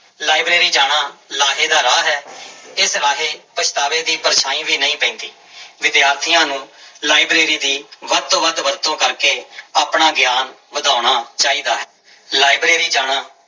library ਜਾਣਾ ਲਾਹੇ ਦਾ ਰਾਹ ਹੈ ਇਸ ਰਾਹੇ ਪਛਤਾਵੇ ਦੀ ਪਰਛਾਂਈ ਵੀ ਨਹੀਂ ਪੈਂਦੀ, ਵਿਦਿਆਰਥੀਆਂ ਨੂੰ ਲਾਇਬ੍ਰੇਰੀ ਦੀ ਵੱਧ ਤੋਂ ਵੱਧ ਵਰਤੋਂ ਕਰਕੇ ਆਪਣਾ ਗਿਆਨ ਵਧਾਉਣਾ ਚਾਹੀਦਾ ਹੈ, ਲਾਇਬ੍ਰੇਰੀ ਜਾਣਾ